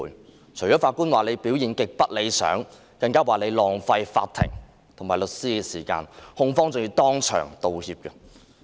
法官除了指律政司的表現極不理想外，更指律政司浪費法庭的資源及律師的時間，控方還要當場道歉。